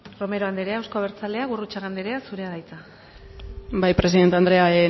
romero anderea euzko abertzaleak gurrutxaga anderea zurea da hitza bai presidente anderea